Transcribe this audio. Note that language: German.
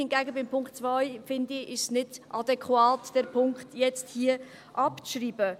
Hingegen finde ich, bei Punkt 2 ist es nicht adäquat, diesen Punkt jetzt hier abzuschreiben.